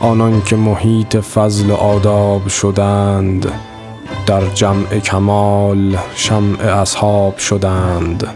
آنان که محیط فضل و آداب شدند در جمع کمال شمع اصحاب شدند